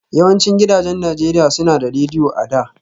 Yawancin gidajen Najeriya suna da Rediyo a da